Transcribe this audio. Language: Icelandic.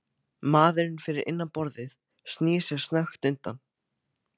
Maðurinn fyrir innan borðið snýr sér snöggt undan.